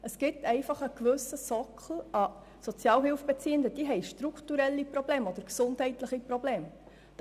Es gibt einfach einen gewissen Sockel an Sozialhilfebeziehenden, die strukturelle oder gesundheitliche Probleme haben.